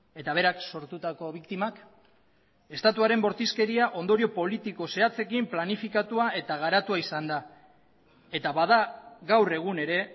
eta berak sortutako biktimak estatuaren bortizkeria ondorio politiko zehatzeko planifikatua eta garatua izan da eta bada gaur egun ere